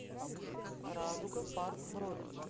радуга парк бронь